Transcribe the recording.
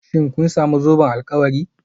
Shin kun sami zoben alkawari?